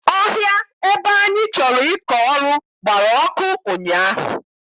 Ọhịa ebe anyị chọrọ ịkọ ọrụ gbara ọkụ ụnyaahụ.